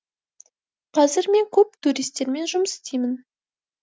қазір мен көп туристермен жұмыс стеймін